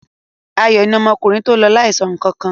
Ayọ̀ ni ọmọkùnrin tó lọ láìsọ nǹkan kan.